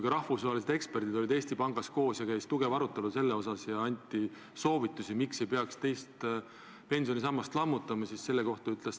Ka rahvusvahelised eksperdid olid Eesti Pangas koos ja teema üle käis sügav arutelu, pärast mida anti soovitusi, miks ei tohiks teist pensionisammast lammutada.